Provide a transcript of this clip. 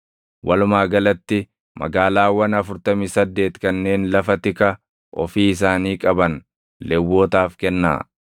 Walumaa galatti magaalaawwan afurtamii saddeet kanneen lafa tika ofii isaanii qaban Lewwotaaf kennaa.